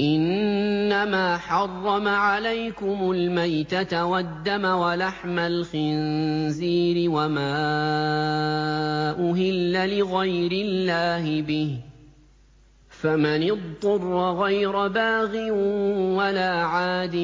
إِنَّمَا حَرَّمَ عَلَيْكُمُ الْمَيْتَةَ وَالدَّمَ وَلَحْمَ الْخِنزِيرِ وَمَا أُهِلَّ لِغَيْرِ اللَّهِ بِهِ ۖ فَمَنِ اضْطُرَّ غَيْرَ بَاغٍ وَلَا عَادٍ